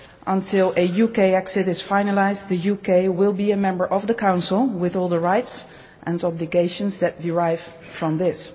Until a UK exit is finalised, the UK will be a member of the Council with all the rights and obligations that derive from this.